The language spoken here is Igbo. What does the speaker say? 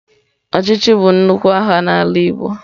Ọchịchị bụ nnukwu aha n'ala igbo.